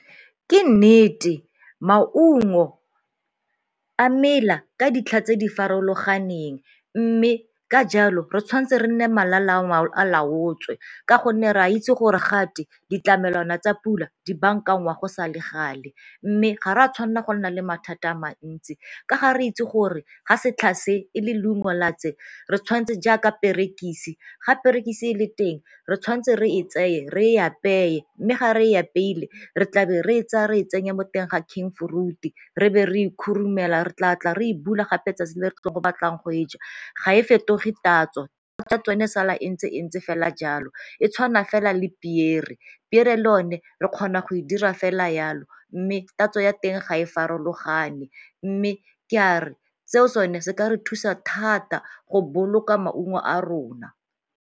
Ke nnete maungo a mela ka ditlha tse di farologaneng mme ka jalo re tshwantse re nne malala a laotswe ka gonne re a itse gore gate ditlamelwana tsa pula dibankangwa go sa le gale, mme ga re a tshwanna go nna le mathata a mantsi. Ka ga re itse gore ga setlha se e le leungo la tse re tshwanetse jaaka perekise, ga perekise e le teng re tshwantse re e tseye re e apeye mme ga re apeile re tlabe re e tsaya re e tsenya mo teng ga re be re itumela re tla tla re ibua gape 'tsatsi le re tlo batlang go e ja ga e fetoge tatso. tsa tsone e sala e ntse e ntse fela jalo. E tshwana fela le pear-re, pear-re le yone re kgona go e dira fela yalo mme tatso ya teng ga e farologane mme ke a re seo sone se ka re thusa thata go boloka maungo a rona.